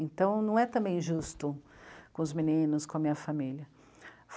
Então, não é também justo com os meninos, com a minha família.